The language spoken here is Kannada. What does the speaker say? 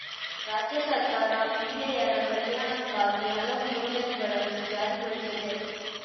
ರಾಜ್ಯ ಸರ್ಕಾರ ಮಹಿಳೆಯರ ಕಲ್ಯಾಣಕ್ಕಾಗಿ ಹಲವು ಯೋಜನೆಗಳನ್ನು ಜಾರಿಗೊಳಿಸಿದೆ